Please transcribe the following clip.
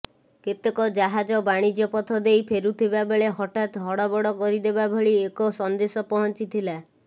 କେତେକ ଜାହାଜ ବାଣିଜ୍ୟ ପଥ ଦେଇ ଫେରୁଥିବା ବେଳେ ହଠାତ୍ ହଡ଼ବଡ଼ କରିଦେବା ଭଳି ଏକ ସନ୍ଦେଶ ପହଞ୍ଚିଥିଲା